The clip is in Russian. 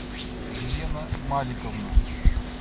елена маликовна